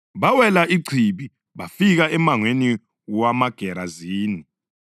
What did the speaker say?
Bawela ichibi bafika emangweni wamaGerazini.